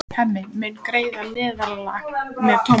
Hemmi mun greiða meðlag með Tómasi.